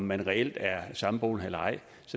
man reelt er samboende eller ej